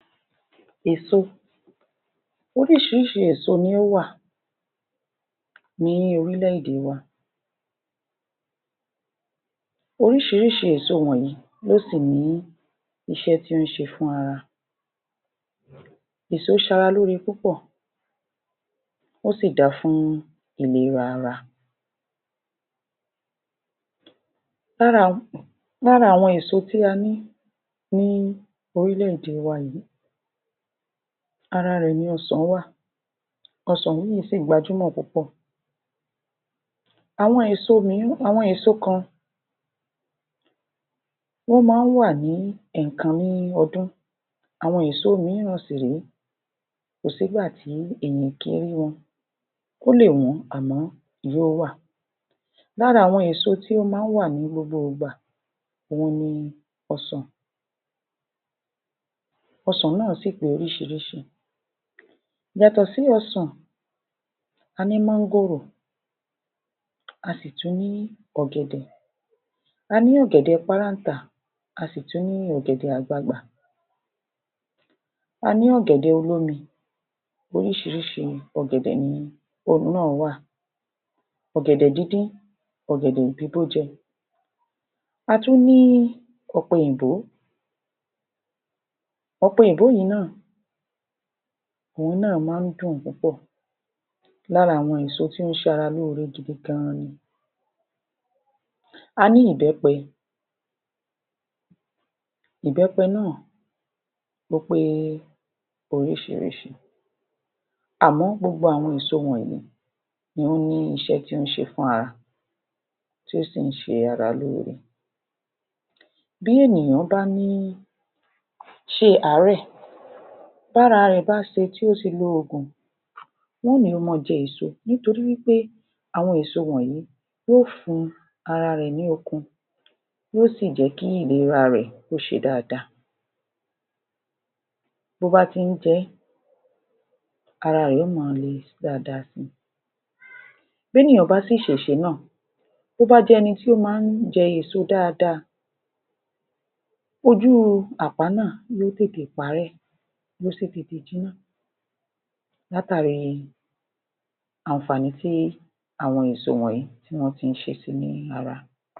Èso Oríṣiríṣi èso ni ó wà, ní orílẹ̀-èdè wa. Oríṣiríṣi èso wọ̀nyí ló sì ní iṣẹ́ tí ó ń ṣe fún ara. Èso ṣara lóore púpọ̀, ó sì da fún ìlera ara. lára àwọn èso tí a ní ní orílẹ̀-èdè wa yìí, ara rẹ̀ ni Ọsàn wa. Ọsàn yìí sì gbajúmọ̀ púpọ̀. àwọn èso kan, wọ́n máa ń wa ní ẹ̀ẹ̀kan ní ọdún, àwọn èso mìíran sì ré, kò sí ìgbà tí èèyàn ò kí rí wọn. Ó lè wọ́n àmọ́ yo ó wà. Lára àwọn èso tí ó máa ń wa ní gbogbo ìgbà, òhun ni Ọsàn, ọsàn náà sì pé oríṣiríṣi. Yàtọ̀ sí ọsàn, a ní Mọ́ngòrò, a sì tú ní Ọ̀gẹ̀dẹ̀. A ní ọ̀gẹ̀dẹ̀ páráǹtà, a sì tún ní ọ̀gẹ̀dẹ̀ àgbagbà, a ní ọ̀gẹ̀dẹ̀ olómi, oríṣiríṣi ọ̀gẹ̀dẹ̀ nìyẹn. Orù náà wà, ọ̀gẹ̀dẹ̀ díndín, ọ̀gẹ̀dẹ̀ bíbó jẹ. A tún ní Ọ̀pẹ̀ yìnbó, ọ̀pẹ̀ yìnbó yìí náà, òhun náà máa ń dùn púpọ̀. Lára àwọn èso tí ó ń ṣara lóore gidi gan-an ni. A ní Ìbẹ́pẹ, ìbẹ́pẹ náà ó pé oríṣiríṣi àmọ́ gbogbo àwọn èso wọ̀nyí ni ó ní iṣẹ́ tí ó ń ṣe fún ara, tí ó sì ń ṣe ara lóore. Bí ènìyàn bá ní ṣe àárẹ̀, tára rẹ̀ bá ṣe tí ó ṣe lo oògùn, wọn ó ò ní kí ó ma jẹ èso nítorí wí pé àwọn èso wọ̀nyí yóò fún ara rẹ̀ ní okun, yóò sì jẹ́ kí ìlera rẹ kó ṣe dáadáa. Bó bá ti ń jẹ ẹ́, ara rẹ̀ yóò ma le dáadáa si. B’énìyàn bá sì ṣèṣe náà, tó bá jẹ́ ẹni tó máa ń jẹ èso dáadáa, ojú u àpá náà yó tètè parẹ́, yó sì tètè jiná. Látàri àǹfààní tí àwọn èso wọ̀nyí tí wọ́n ti ń ṣe si ní ara.